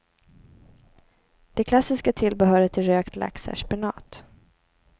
Det klassiska tillbehöret till rökt lax är spenat.